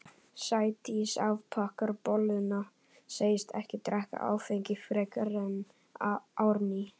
Sædís afþakkar bolluna, segist ekki drekka áfengi frekar en Árný.